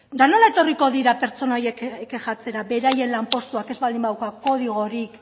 nola etorriko dira pertsona horiek kexatzera beraien lanpostuak ez baldin badauka kodigorik